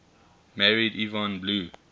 married yvonne blue